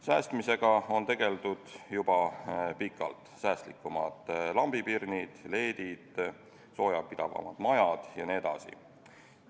Säästmisega on tegeldud juba pikalt – säästlikumad lambipirnid, LED-id, soojapidavamad majad jne.